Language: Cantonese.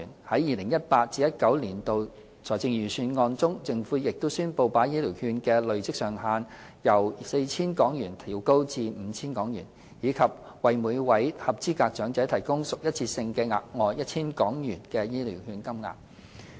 在 2018-2019 年度財政預算案中，政府亦宣布把醫療券的累積上限由 4,000 港元調高至 5,000 港元，以及向每位合資格長者額外提供屬一次性質的 1,000 港元醫療券金額。